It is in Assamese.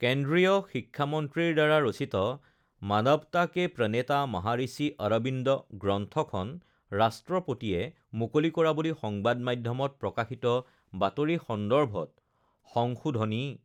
কেন্দ্ৰীয় শিক্ষামন্ত্ৰীৰ দ্বাৰা ৰচিত মানৱতা কে প্ৰণেতা মহাঋষি অৰবিন্দ গ্ৰন্থখন ৰাষ্ট্ৰপতিয়ে মুকলি কৰা বুলি সংবাদ মাধ্যমত প্ৰকাশিত বাতৰি সন্দৰ্ভত সংশোধনী